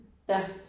Ja